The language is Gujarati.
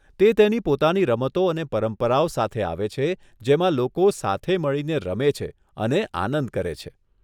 તે તેની પોતાની રમતો અને પરંપરાઓ સાથે આવે છે જેમાં લોકો સાથે મળીને રમે છે અને આનંદ કરે છે.